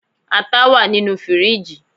ata wa ninu firiji